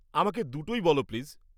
আমাকে দুটোই বলো, প্লিজ।